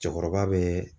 Cɛkɔrɔba bɛ